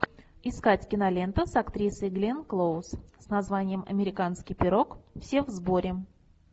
искать кинолента с актрисой гленн клоуз с названием американский пирог все в сборе